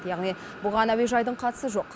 яғни бұған әуежайдың қатысы жоқ